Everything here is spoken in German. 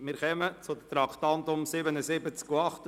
Wir kommen zu den Traktanden 77 und 78.